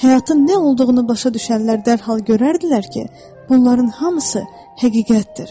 Həyatın nə olduğunu başa düşənlər dərhal görərdilər ki, bunların hamısı həqiqətdir.